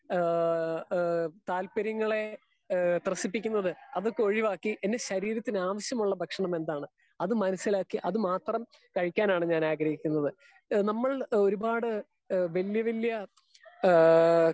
Speaker 2 ഏഹ് ഏഹ് താല്പര്യങ്ങളെ ഏഹ് ത്രെസിപ്പിക്കുന്നത് അത് ഒക്കെ ഒഴിവാക്കി എന്റെ ശരീരത്തിന് ആവിശ്യമുള്ള ഭക്ഷണം എന്താണ് അത് മനസ്സിലാക്കി അത് മാത്രം കഴിക്കാനാണ് ഞാൻ ആഗ്രഹിക്കുന്നത്. നമ്മൾ ഒരുപാട് വല്യവാല്യ ഹേ